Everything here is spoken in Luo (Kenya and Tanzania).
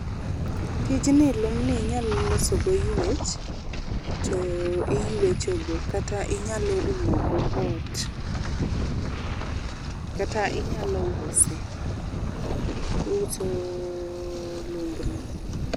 tij ni lum ni inyalo loso go ywech to iywecho go, kata inyalo umo go ot, kata inyalo use, uso lumb no.